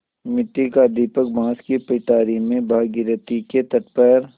मिट्टी का दीपक बाँस की पिटारी में भागीरथी के तट पर